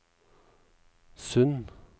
Sund